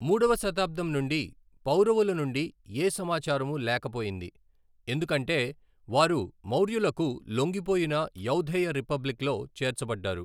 మూడవ శతాబ్దం నుండి పౌరవుల నుండి యే సమాచారమూ లేకపోయింది, ఎందుకంటే వారు మౌర్యులకు లొంగిపోయిన యౌధేయ రిపబ్లిక్లో చేర్చబడ్డారు.